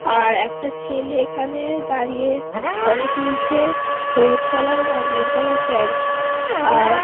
আর একটা ছেলে এখানে দাঁড়িয়ে ফটো তুলছে হলুদ কালার আর নীল কালার প্যান্ট আর--